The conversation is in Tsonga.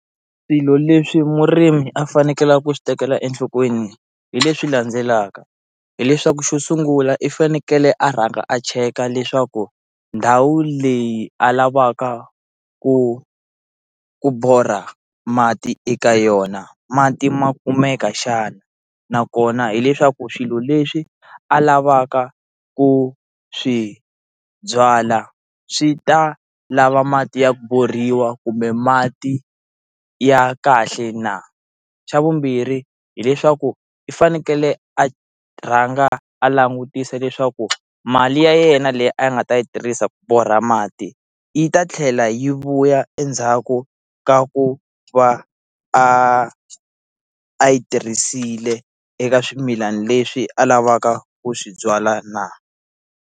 Swilo leswi murimi a fanekele ku swi tekela enhlokweni hi leswi landzelaka hileswaku xo sungula i fanekele a rhanga a cheka leswaku ndhawu leyi a lavaka ku ku borha mati eka yona mati ma kumeka xana na kona hileswaku swilo leswi a lavaka ku swi byala swi ta lava mati ya ku borhiwa kumbe mati ya kahle na, xa vumbirhi hileswaku i fanekele a rhanga a langutisa leswaku mali ya yena leyi a nga ta yi tirhisa ku borha mati yi ta tlhela yi vuya endzhaku ka ku va a a yi tirhisile eka swimilana leswi a lavaka ku swi byala na.